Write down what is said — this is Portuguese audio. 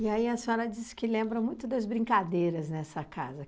E aí a senhora disse que lembra muito das brincadeiras nessa casa.